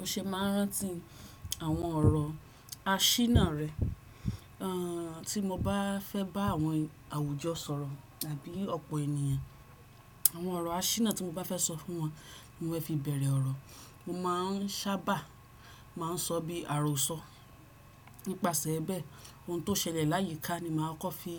O ṣe máa ń rántí àwọn ọ̀rọ̀ asínà rẹ, tí mo bá fẹ́ bá àwọn àwùjọ sọ̀rọ̀ tàbí ọ̀pọ̀ ènìyàn, àwọn ọ̀rọ̀ asínà tí mo bá fẹ́ sọ fún wọn ni mo fi bẹ̀rẹ̀ ọ̀rọ̀. Mo má ń sábà má ń sọ bí àròsọ. Nípasẹ̀ bẹ́ẹ̀, ohun tó ṣẹlẹ̀ láyìíká ni màá kọ́ fi